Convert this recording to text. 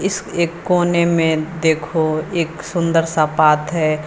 इस एक कोने में देखो एक सुंदर सा पात है।